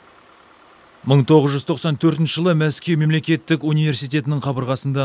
мың тоғыз жүз тоқсан төртінші жылы мәскеу мемлекеттік университетінің қабырғасында